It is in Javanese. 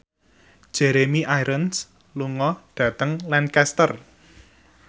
Jeremy Irons lunga dhateng Lancaster